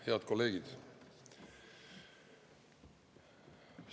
Head kolleegid!